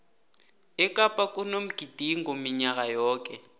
ekapa kunomgidingo minyaka yoke